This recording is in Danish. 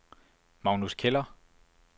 Magnus Keller